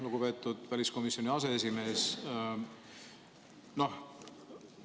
Lugupeetud väliskomisjoni aseesimees!